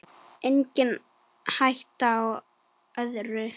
Engin hætta á öðru!